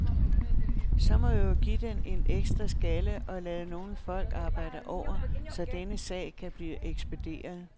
Så må vi jo give den en ekstra skalle og lade nogle folk arbejde over, så denne sag kan blive ekspederet.